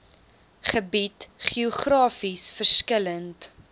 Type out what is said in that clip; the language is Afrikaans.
gebied geografies verskillend